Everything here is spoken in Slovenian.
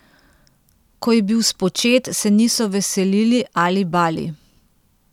Ko je bil spočet, se niso veselili ali bali.